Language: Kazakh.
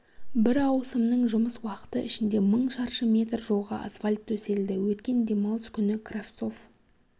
бір ауысымның жұмыс уақыты ішінде мың шаршы метр жолға асфальт төселді өткен демалыс күні кравцов